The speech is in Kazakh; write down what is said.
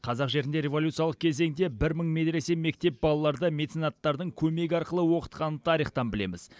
қазақ жерінде революциялық кезеңде бір мың медресе мектеп балаларды меценаттардың көмегі арқылы оқытқанын тарихтан білеміз